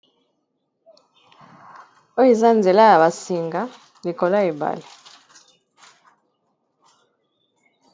Oyo eza nzela ya ba singa likolo ya ebale.